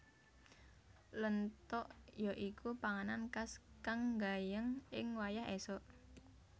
Lentog ya iku panganan khas kang gayeng ing wayah esuk